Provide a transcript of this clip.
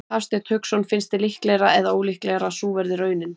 Hafsteinn Hauksson: Finnst þér líklegra eða ólíklegra að sú verði raunin?